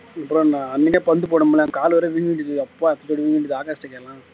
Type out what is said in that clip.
அப்புறம் என்ன அன்னைக்கே பந்து போட முடியல என் கால் வேற வீங்கிக்கிச்சு அப்பா எத்தசோடு வீங்கி இருந்தது ஆகாஷ் கிட்ட கேளேன்